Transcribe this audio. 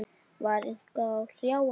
Var eitthvað að hrjá hann?